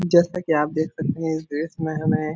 जैसा कि आप देख सकते हैं इस ड्रेस में हमें --